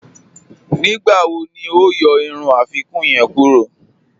Nígbàwò ni o yọ irun afikuǹ yẹń kúrọ̀?